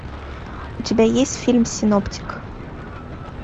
у тебя есть фильм синоптик